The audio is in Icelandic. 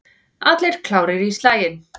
Allir klárir í slaginn?